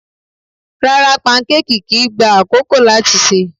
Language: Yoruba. Rárá, pankéèkì kìí gba àkókò láti sè.